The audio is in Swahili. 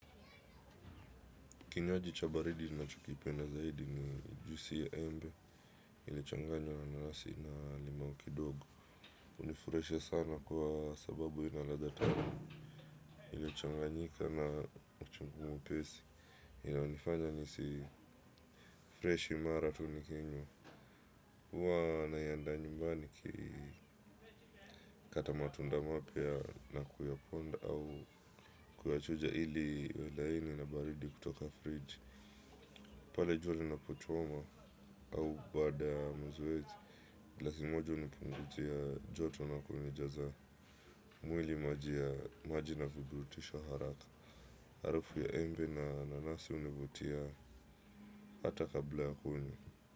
Kinywaji cha baridi nachokipenda zaidi ni juisi ya embe, ilitochanganywa na nanasi na limau kidogo. Hunifuraisha sana kwa sababu ina ladha tamu, ilichanganyika na uchungu mwepesi, inayonifanya nihisi fresh mara tu nikinywa. Huwa naiandaa nyumbani nikikata matunda mapya na kuyaponda au kuyachuja ili iwe laini na baridi kutoka friji. Pale jua linapochoma au baada ya mazoezi. Glasi moja hunipunguzia joto na kunijaza. Mwili maji na kuburutisha haraka. Harufu ya embe na nanasi hunivutia hata kabla ya kuni.